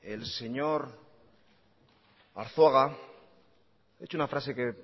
el señor arzuaga ha dicho una frase que